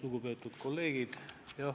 Lugupeetud kolleegid!